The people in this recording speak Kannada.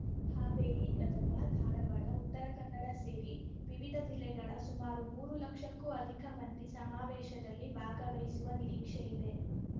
ಹಾವೇರಿ ಗದಗ ಧಾರವಾಡ ಉತ್ತರ ಕನ್ನಡ ಸೇರಿ ವಿವಿಧ ಜಿಲ್ಲೆಗಳ ಸುಮಾರು ಮೂರು ಲಕ್ಷಕ್ಕೂ ಅಧಿಕ ಮಂದಿ ಸಮಾವೇಶದಲ್ಲಿ ಭಾಗವಹಿಸುವ ನಿರೀಕ್ಷೆಯಿದೆ